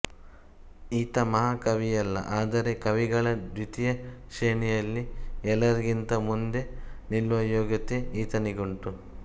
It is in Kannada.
ಈತ ಮಹಾಕವಿಯಲ್ಲ ಆದರೆ ಕವಿಗಳ ದ್ವಿತೀಯ ಶ್ರೇಣಿಯಲ್ಲಿ ಎಲ್ಲರಿಗಿಂತ ಮುಂದೆ ನಿಲ್ಲುವ ಯೋಗ್ಯತೆ ಈತನಿಗುಂಟು